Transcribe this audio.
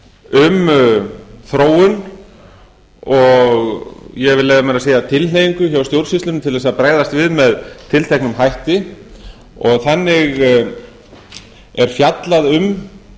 um þróun og ég vil leyfa mér að segja tilhneigingu hjá stjórnsýslunni til að bregðast við með tilteknum hætti þannig er fjallað um